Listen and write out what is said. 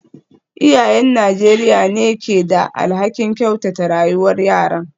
Iyayen Najeriya ne ke da alhakin kyautata rayuwar yaran.